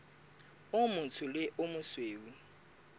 o motsho le o mosweu